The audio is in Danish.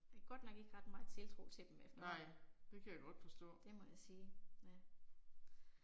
Det er godt nok ikke ret meget tiltro til dem efterhånden, det må jeg sige, ja